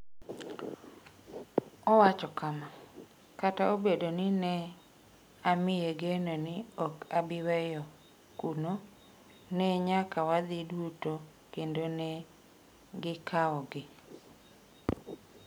Owacho kama: “Kata obedo ni ne amiye geno ni ok abi weyo kuno, ne nyaka wadhi duto kendo ne gikawogi.”